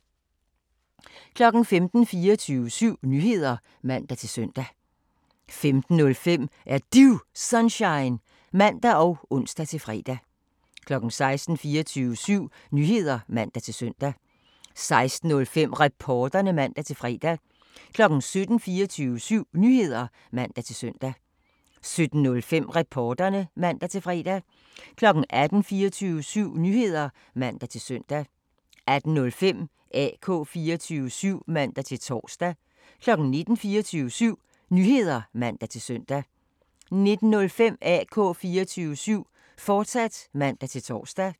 15:00: 24syv Nyheder (man-søn) 15:05: Er Du Sunshine? (man og ons-fre) 16:00: 24syv Nyheder (man-søn) 16:05: Reporterne (man-fre) 17:00: 24syv Nyheder (man-søn) 17:05: Reporterne (man-fre) 18:00: 24syv Nyheder (man-søn) 18:05: AK 24syv (man-tor) 19:00: 24syv Nyheder (man-søn) 19:05: AK 24syv, fortsat (man-tor)